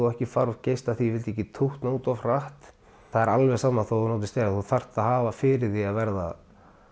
ekki fara of geyst ég vildi ekki tútna út of hratt það er alveg sama þótt þú notir stera þú þarft að hafa fyrir því að verða